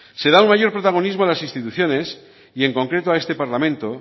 se da un mayor protagonismo a las instituciones y en concreto a este parlamento